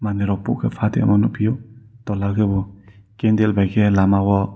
manui rok bokei patuimo nogpio towla kebo candel bai ke lama o.